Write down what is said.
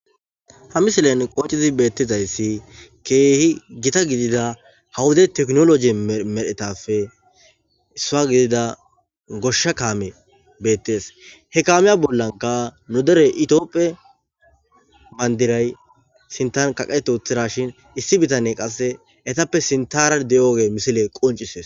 ha misilen qoocizi beettizayssi keehi gita gidida hawuda teknoloji medhetapfe issaa gidida goshsha kaame beettees he kaamiya bollanka nu dere itioopphe mandiray sintan kaqeetuthirashin issi bitanne qasse etappe sintara de7oge misile qoncisees